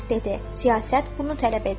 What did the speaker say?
"Siyasət bunu tələb edir."